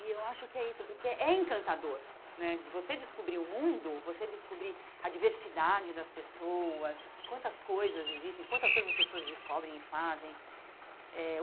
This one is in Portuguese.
E eu acho que é isso, porque é encantador né de você descobrir o mundo, você descobrir a diversidade das pessoas, quantas coisas existem, quantas coisas as pessoas descobrem e fazem eh.